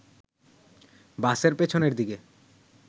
বাসের পেছনের দিকে